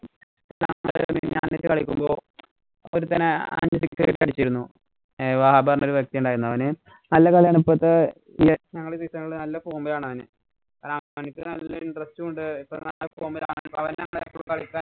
ഒരുത്തന് അഞ്ചു six അടിച്ചിരുന്നു. ഐവാ ഹബ്ബ എന്നഒരു വ്യക്തിയുണ്ടായിരുന്നു. അവന് നല്ല കളിയാണ്‌. ഇപ്പോഴത്തെ വിയറ്റ്നാം കളി season ഇല് നല്ല form ഇലാണവന്. കാരണ